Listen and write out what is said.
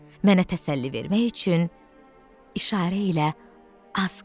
Mənə təsəlli vermək üçün işarə ilə az qalıb.